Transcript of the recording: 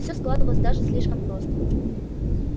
всё складывалось даже слишком просто